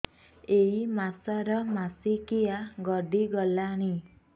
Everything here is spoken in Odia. ଏଇ ମାସ ର ମାସିକିଆ ଗଡି ଗଲାଣି